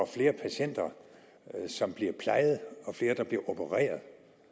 flere patienter som bliver plejet og flere der bliver opereret